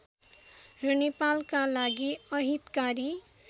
र नेपालका लागि अहितकारी